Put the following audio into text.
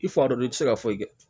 I fa dɔ don i ti se ka foyi kɛ